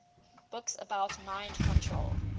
books about mind control